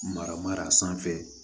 Mara mara sanfɛ